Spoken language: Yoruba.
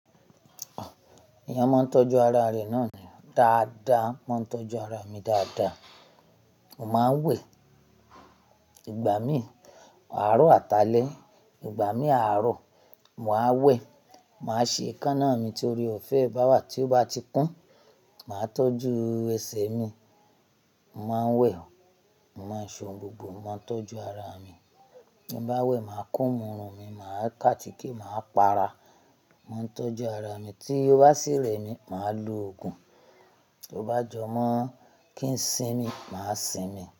Èèyàn máa ń tọ́jú ara rẹ̀ náà dáadáa, máa ń tọ́jú ara mi dáadáa. Mo máa ń wẹ̀, ìgbà mí àárọ̀ àtálẹ, ìgbà mí àárọ̀, màá wẹ̀. Màá ṣe eekanna mi torí ọ̀fẹ́, báwà tí ó bá ti kún, màá tọ́jú ẹsẹ̀ mi. Mo máa ń wẹ̀, màá ṣan gbogbo, máa ń tọ́jú ara mi. Bí bá wẹ̀, màá kún irun mi, màá kun àtíkè màá pa ara, máa ń tọ́jú ara mi. Tí ó bá sìrẹ̀ mí, màá lo òògùn. Bí ó bá jọ mọ́ kí ń sín mi, màá sín mi.